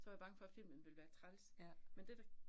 Så var jeg bange for, filmen ville være træls, men det, der